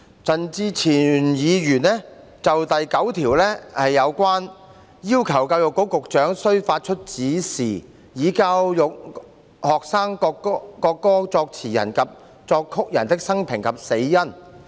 陳志全議員就第9條提出修正案，要求教育局局長須發出指示，以教育學生國歌作詞人及作曲人的生平及死因。